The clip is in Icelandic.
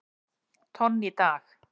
tonn í dag.